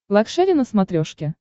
лакшери на смотрешке